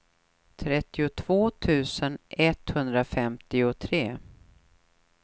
trettiotvå tusen etthundrafemtiotre